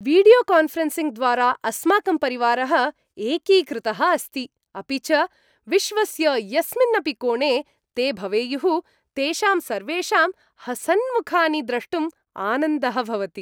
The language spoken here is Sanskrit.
वीडियोकान्फ़रेन्सिङ्ग्द्वारा अस्माकं परिवारः एकीकृतः अस्ति, अपि च विश्वस्य यस्मिन्नपि कोणे ते भवेयुः तेषां सर्वेषां हसन्मुखानि द्रष्टुं आनन्दः भवति।